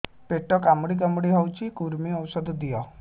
ପେଟ କାମୁଡି କାମୁଡି ହଉଚି କୂର୍ମୀ ଔଷଧ ଦିଅ